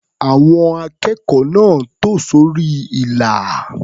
Àwọn akẹ́kọ̀ọ́ náà tò sórí ilà.